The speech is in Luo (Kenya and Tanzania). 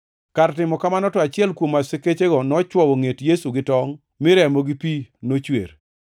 Kar timo kamano, to achiel kuom askechego nochwowo ngʼet Yesu gi tongʼ, mi remo gi pi nochwer.